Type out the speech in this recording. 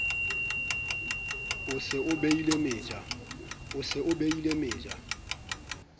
o se o behile meja